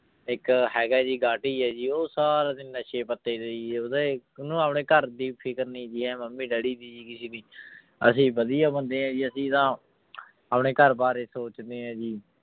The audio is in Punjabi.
ਇੱਕ ਹੈਗਾ ਜੀ ਗਾਟੀ ਹੈ ਜੀ ਉਹ ਸਾਰਾ ਦਿਨ ਨਸ਼ੇ ਪੱਤੇ ਤੇ ਜੀ ਉਹਦਾ ਉਹਨੂੰ ਆਪਣੇ ਘਰਦੀ ਫ਼ਿਕਰ ਨੀ ਜੀ ਇਹ mummy daddy ਦੀ ਜੀ ਕਿਸੇ ਦੀ ਅਸੀਂ ਵਧੀਆ ਬੰਦੇ ਹਾਂ ਜੀ ਅਸੀਂ ਤਾਂ ਆਪਣੇ ਘਰ ਬਾਰੇ ਸੋਚਦੇ ਹਾਂ ਜੀ।